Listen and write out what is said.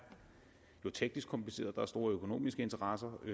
teknisk kompliceret hvor der er store økonomiske interesser og